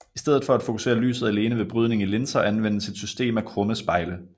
I stedet for at fokusere lyset alene ved brydning i linser anvendes et system af krumme spejle